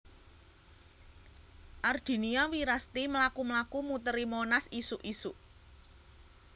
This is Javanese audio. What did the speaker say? Ardinia Wirasti mlaku mlaku muteri Monas isuk isuk